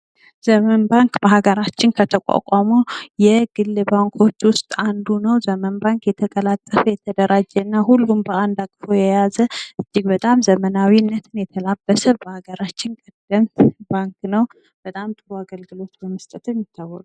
ዘመን ባንክ በሀገራችን ከተቋቋሙ የግል ባንኮች ውስጥ አንዱ ነው። ዘመን ባንክ የተቀላጠፈ የተደራጀ እና ሁሉን ባንድ የያዘ እጅግ በጣም ዘመናዊነትን የተላበሰ በሀገራችን ያለ ባንክ ነው። በጣም ጥሩ አገልግሎቶችን በመስጠት ይታወቃል።